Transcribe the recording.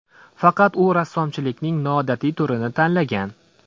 Faqat u rassomchilikning noodatiy turini tanlagan.